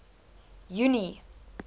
junie